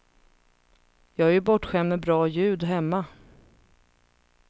Jag är ju bortskämd med bra ljud hemma.